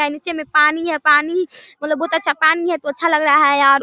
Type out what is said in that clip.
नीचे में पानी है पानी मतलब बहुत अच्छा पानी है तो अच्छा लग रहा है यार।